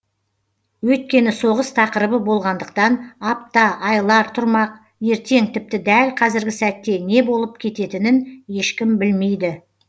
өйткені соғыс тақырыбы болғандықтан апта айлар тұрмақ ертең тіпті дәл қазіргі сәтте не болып кететінін ешкім білмейді